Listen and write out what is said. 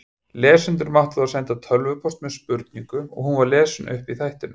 Lesendur máttu þá senda tölvupóst með spurningu og hún var lesin upp í þættinum.